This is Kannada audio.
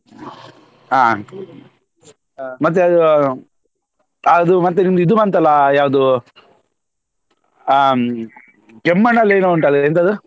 ಹಾ ಹ ಮತ್ತೆ ಅದೂ ಅದು ಮತ್ತೆ ನಿಮ್ದು ಇದು ಬಂತಲ್ಲ ಯಾವ್ದು ಅಹ್ Kemmannu ಲ್ಲಿ ಏನೋ ಉಂಟಲ್ಲ ಎಂತದದು.